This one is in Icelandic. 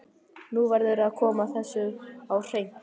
Nú verður að koma þessu á hreint